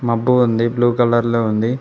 మబ్బుగ ఉంది blue colour లో ఉంది.